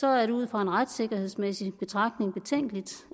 er det ud fra en retssikkerhedsmæssig betragtning betænkeligt